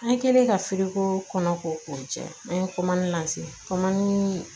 An kɛlen ka firikoo kɔnɔ ko k'o jɛ an ye kɔmani na se kɔmɔ